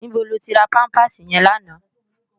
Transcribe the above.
Nibó lótì rá pàmpásí yèn làná?